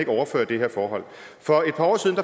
overføre det her forhold for et par år siden